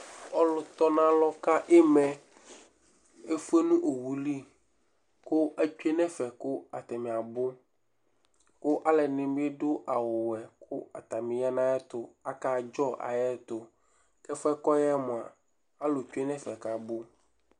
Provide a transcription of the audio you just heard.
Ɔlʋtɔnʋalɔ ka ɩma yɛ efue nʋ owu li kʋ atsue nʋ ɛfɛ kʋ atanɩ abʋ kʋ alʋɛdɩnɩ dʋ awʋwɛ kʋ atanɩ ya nʋ ayɛtʋ, akadzɔ ayʋ ɛtʋ kʋ ɛfʋ yɛ kʋ ɔya yɛ mʋa, alʋ tsue nʋ ɛfɛ kʋ abʋ